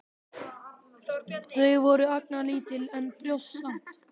Þau voru agnarlítil, en brjóst samt.